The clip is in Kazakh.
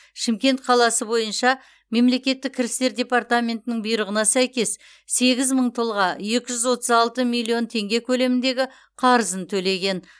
шымкент қаласы бойынша мемлекеттік кірістер департаментінің бұйрығына сәйкес сегіз мың тұлға екі жүз отыз алты миллион теңге көлеміндегі қарызын төлеген